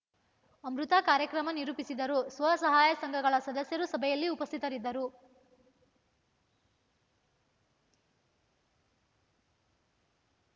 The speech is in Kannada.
ಅಮೃತಾ ಕಾರ್ಯಕ್ರಮ ನಿರೂಪಿಸಿದರು ಸ್ವಸಹಾಯ ಸಂಘಗಳ ಸದಸ್ಯರು ಸಭೆಯಲ್ಲಿ ಉಪಸ್ಥಿತರಿದ್ದರು